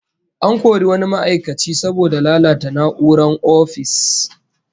An kori wani ma'aikaci saboda lalata na'urorin ofis